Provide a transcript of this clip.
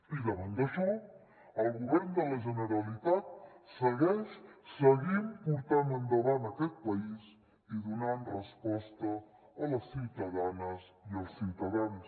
i davant d’això el govern de la generalitat segueix seguim portant endavant aquest país i donant resposta a les ciutadanes i als ciutadans